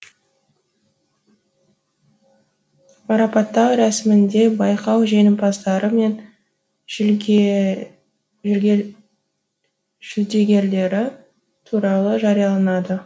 марапаттау рәсімінде байқау жеңімпаздары мен жүлдегерлері туралы жарияланады